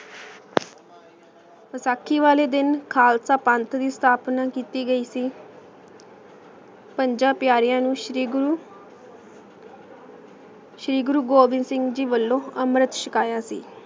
ਵਸਾਖੀ ਵਾਲੇ ਦਿਨ ਖਾਲਸਾ ਪੰਜ ਦੀ ਅਸ੍ਥਾਪ੍ਨਾ ਕੀਤੀ ਗਾਗੀ ਸੀ ਪੰਜਾਂ ਤ੍ਯਾਰ੍ਯਾਂ ਨੂ ਸ਼੍ਰੀ ਗੁਰੂ ਗੋਵਿੰਦ ਸਿੰਘ ਜੀ ਵਲੋਂ ਅਮਰਤ ਚਾਕਾਯਾ ਸੀ